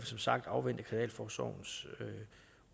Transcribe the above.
som sagt afvente kriminalforsorgens